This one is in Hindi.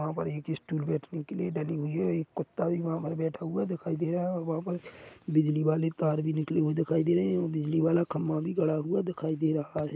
वहाँ पर एक स्टूल बैठने के लिए डली है एक कूत्ता भी वहाँ पर बैठा हुआ है दिखाई दे रहा है और वहाँ पर बिजली वाले तार भी निकले हुए दिखाई दे रहे हैं और बिजली वाला खंभा भी गड़ा हुआ दिखाई दे रहा है।